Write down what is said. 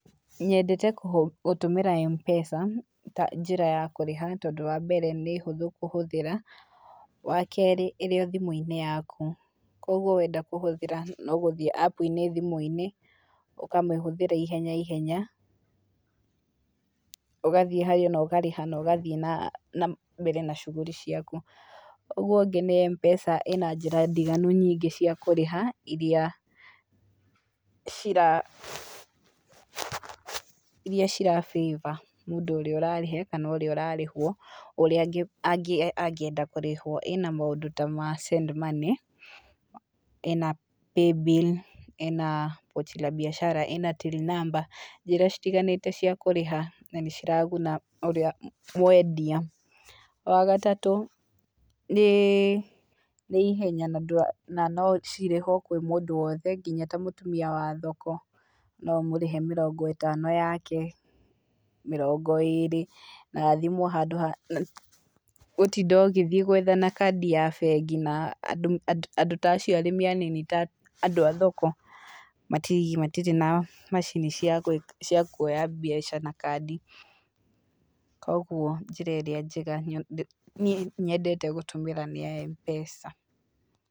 Nyendete gũtũmĩra Mpesa ta njĩra ya kũrĩha, tondũ wambere nĩ hũthũ kuhũthĩra, wakerĩ ĩrĩ thimũinĩ yaku, kwoguo wenda kũhũthĩra noguthiĩ app inĩ ũkamĩhũthĩra ihenya ihenya ũgathiĩ harĩa na ũgathi nambere na shughuli ciaku, ũguo ũngĩ nĩ Mpesa ĩna njĩra ndiganu nyingĩ cia kũrĩha iria cira favor mũndũ ũrĩa ararĩha kana ũrĩa ararĩhwo ũríĩ angĩenda kũrĩhwo ĩna maũndũ ta ma send money, ĩna paybill, ĩna pochi la biacara na till number, njĩra citiganĩte cia kũrĩha na nĩciraguna ũrĩa mwendia, wagataũ nĩ ihenya nocirĩhwo kwĩ mũndũ wothe nginya ta mũtumia wa thoko noũmũrĩhe mĩrongo ĩtano yake, mĩrongo ĩrĩ, na thimũ handũ wa gũtinda ũkĩethana na kadi ya bengi andũ ta acio arĩmi anini ta andũ athoko matirĩ na macini cia kwoya mbeca na kadi, kwoguo njĩra ĩrĩa njega nyendete gũtũmĩra niĩ nĩ ya Mpesa.